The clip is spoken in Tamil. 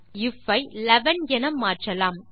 இப்போது ஐஎஃப் ஐ 11 என மாற்றலாம்